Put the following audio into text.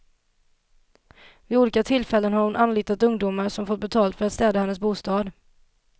Vid olika tillfällen har hon anlitat ungdomar som fått betalt för att städa hennes bostad.